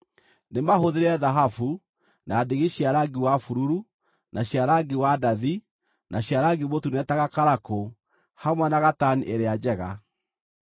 Nĩ mahũthĩre thahabu, na ndigi cia rangi wa bururu, na cia rangi wa ndathi, na cia rangi mũtune ta gakarakũ, hamwe na gatani ĩrĩa njega.